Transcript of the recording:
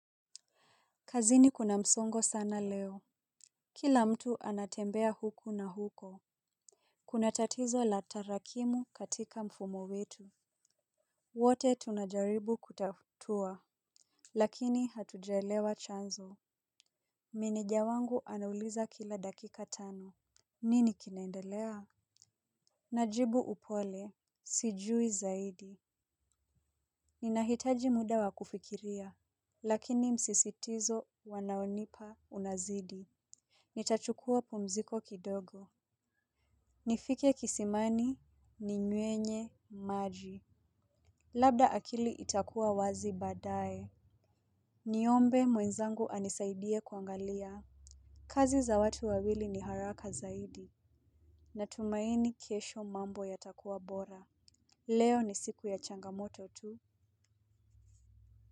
Kazini kuna msongo sana leo. Kila mtu anatembea huku na huko. Kuna tatizo la tarakimu katika mfumo wetu. Wote tunajaribu kutatua. Lakini hatujaelewa chanzo. Menejawangu anauliza kila dakika tano. Nini kinaendelea? Najibu upole. Sijui zaidi. Ninahitaji muda wakufikiria. Lakini msisitizo wanaonipa unazidi. Nitachukuwa pumziko kidogo. Nifike kisimani ni nywenye maji. Labda akili itakuwa wazi baadae. Niombe mwenzangu anisaidie kuangalia. Kazi za watu wawili ni haraka zaidi. Natumaini kesho mambo yatakuwa bora. Leo ni siku ya changamoto tu.